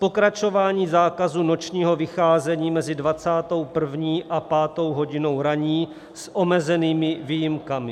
Pokračování zákazu nočního vycházení mezi 21. a 5. hodinou ranní s omezenými výjimkami.